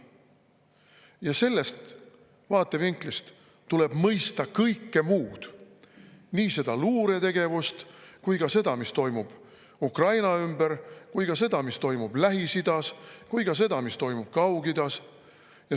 Ja sellest vaatevinklist tuleb mõista kõike muud – nii luuretegevust, seda, mis toimub Ukraina ümber, ja seda, mis toimub Lähis-Idas, kui ka seda, mis toimub Kaug-Idas.